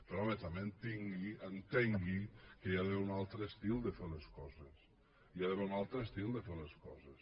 però home també entengui que hi ha d’haver un altre estil de fer les coses hi ha d’haver un altre estil de fer les coses